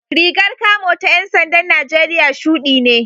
Rigar kamo ta ‘yan sandan Najeriya shudi ne